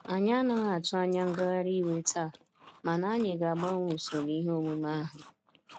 Anyị anaghị atụ anya ngagharị iwe taa, mana anyị ga-agbanwee usoro ihe omume ahu.